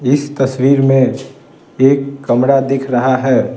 इस तस्वीर में एक कमरा दिख रहा है ।